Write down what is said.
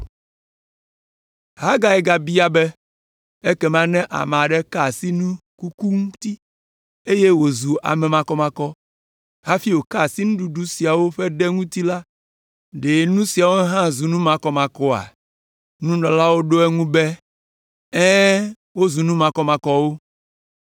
Hagai gabia be, “Ekema ne ame aɖe ka asi ame kuku ŋuti, eye wòzu ame makɔmakɔ, hafi wòka asi nuɖuɖu siawo ƒe ɖe ŋuti la, ɖe nu siawo hã zu nu makɔmakɔa?” Nunɔlaawo ɖo eŋu be, “Ɛ̃, wozu nu makɔmakɔwo.”